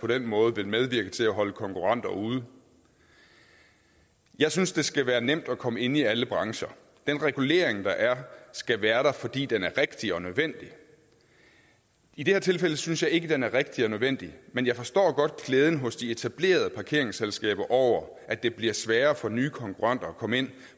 på den måde vil medvirke til at holde konkurrenter ude jeg synes det skal være nemt at komme ind i alle brancher den regulering der er skal være der fordi den er rigtig og nødvendig i det her tilfælde synes jeg ikke at den er rigtig og nødvendig men jeg forstår godt glæden hos de etablerede parkeringsselskaber over at det bliver sværere for nye konkurrenter at komme ind